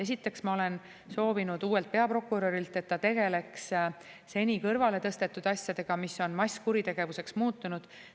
Esiteks, ma olen soovinud uuelt peaprokurörilt, et ta tegeleks seni kõrvale tõstetud asjadega, mis on masskuritegevuseks muutunud.